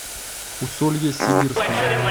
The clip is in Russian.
усолье сибирском